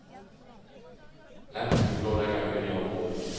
Lansbyen lå dengang midt i området.